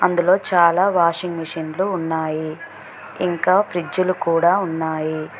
ఇందులో చాలా వాషింగ్ మెషి న్లు ఉన్నాయి ఇంకా ఫ్రిడ్జ్ లు కూడా ఉన్నాయి.